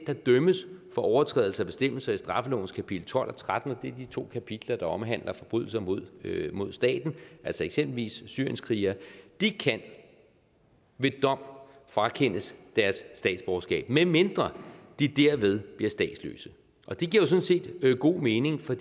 der dømmes for overtrædelse af bestemmelser i straffelovens kapitel tolv og tretten og det er de to kapitler der omhandler forbrydelser mod mod staten altså eksempelvis syrienskrigere ved dom frakendes deres statsborgerskab medmindre de derved bliver statsløse og det giver sådan set god mening for